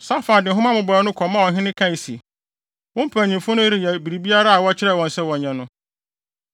Safan de nhoma mmobɔwee no kɔmaa ɔhene kae se, “Wo mpanyimfo no reyɛ biribiara a wɔkyerɛɛ wɔn sɛ wɔnyɛ no.